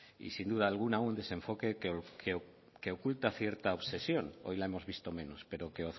y sin duda alguna un desenfoque que oculta cierta obsesión hoy la hemos visto menos pero que